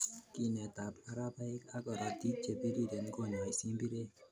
Kinetab marabaik ak korotik che biriren konyai simbirek